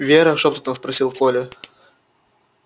вера шёпотом спросил коля